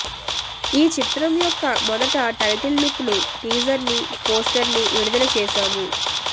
ఈ చిత్రం యెక్క మెదటి టైటిల్ లుక్ టీజర్ ని పోస్టర్ ని విడుదల చేశాము